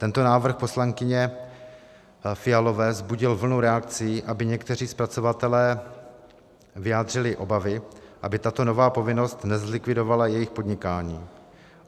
Tento návrh poslankyně Fialové vzbudil vlnu reakcí a někteří zpracovatelé vyjádřili obavy, aby tato nová povinnost nezlikvidovala jejich podnikání.